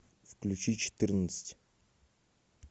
включи четырнадцать